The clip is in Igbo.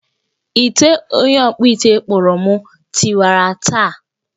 Ite onye ọkpụ ite kpụụrụm tiwara taa